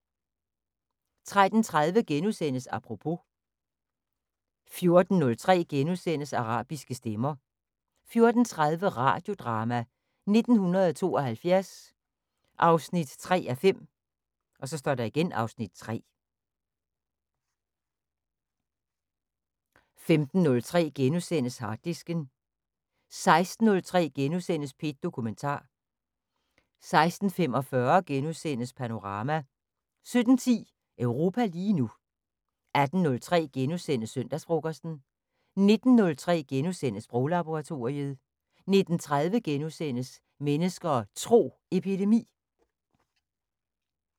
13:30: Apropos * 14:03: Arabiske stemmer * 14:30: Radiodrama: 1972 3:5 (Afs. 3) 15:03: Harddisken * 16:03: P1 Dokumentar * 16:45: Panorama * 17:10: Europa lige nu 18:03: Søndagsfrokosten * 19:03: Sproglaboratoriet * 19:30: Mennesker og Tro: Epidemi *